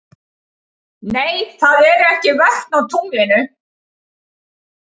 Nei, það eru ekki vötn á tunglinu.